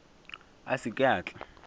a se ke a tla